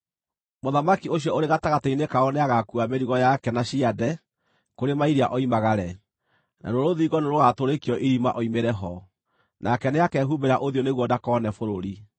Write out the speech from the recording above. “Mũthamaki ũcio ũrĩ gatagatĩ-inĩ kao nĩagakuua mĩrigo yake na ciande kũrĩ mairia oimagare, naruo rũthingo nĩrũgatũrĩkio irima oimĩre ho. Nake nĩakehumbĩra ũthiũ nĩguo ndakone bũrũri.